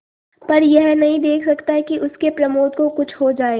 पर यह नहीं देख सकता कि उसके प्रमोद को कुछ हो जाए